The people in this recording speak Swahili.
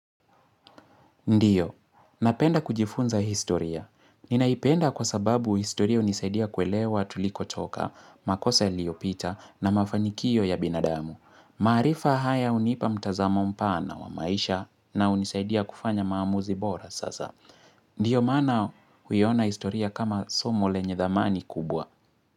Ndiyo, napenda kujifunza historia. Ninaipenda kwa sababu historia hunisaidia kuelewa tulikotoka, makosa yaliopita na mafanikio ya binadamu. Maarifa haya hunipa mtazamo mpana wa maisha na hunisaidia kufanya maamuzi bora sasa. Ndiyo mana huiona historia kama somo lenye dhamani kubwa.